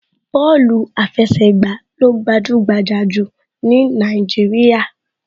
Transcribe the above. Bọ́ọ̀lù àfẹsẹ̀gbà ló gbajúgbajà jù ní Nàìjíríà